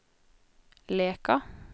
Leka